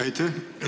Aitäh!